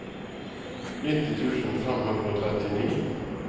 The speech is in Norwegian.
nitti tusen fem hundre og trettini